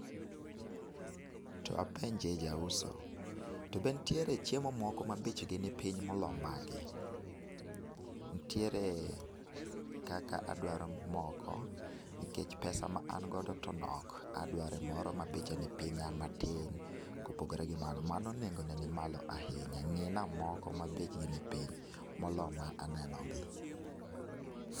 To apenjie jauso , to be ntiere chiemo moko ma bech gi ni piny molo magi. Ntiere kaka adwaro moko nikech pesa ma an go to nok. Adware moro ma beche ni piny matin kopogre gi mano mano nengo ne ni malo ahinya ng'i na moko ma bechgi ni piny molo ma aneno gi.